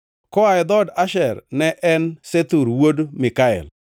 koa e dhood Asher, ne en Sethur wuod Mikael;